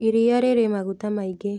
Iriia rĩrĩ maguta maingĩ